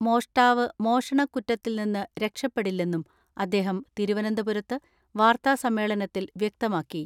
മോഷ്ടാവ് മോഷണക്കുറ്റത്തിൽ നിന്ന് രക്ഷപ്പെടില്ലെന്നും അദ്ദേഹം തിരുവനന്തപുരത്ത് വാർത്താ സമ്മേളനത്തിൽ വ്യക്തമാക്കി.